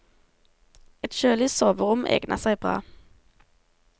Et kjølig soverom egner seg bra.